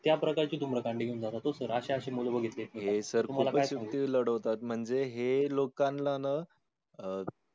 त्या प्रकारची धूम्र कांडी घेऊन जातो. तो sir अशे अशे मुलं बघितलेत मी. हे sir खूपच युक्ती लढवतात म्हणजे हे लोकांलांना ना